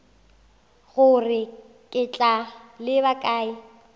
gore ke tla leba kae